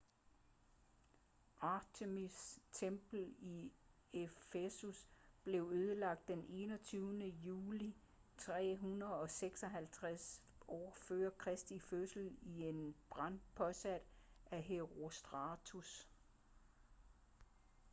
artemis' tempel i efesus blev ødelagt den 21. juli 356 f.kr i en brand påsat af herostratus